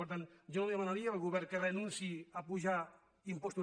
per tant jo no demanaria al govern que renunciï a apujar impostos